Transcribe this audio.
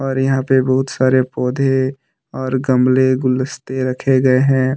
और यहां पे बहुत सारे पौधे और गमले गुलदस्ते रखे गए हैं।